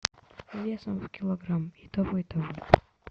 весом в килограмм и того и того